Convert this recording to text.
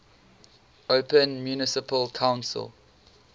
open municipal council